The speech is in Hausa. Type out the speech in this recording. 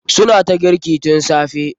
Su na ta girki tun safe.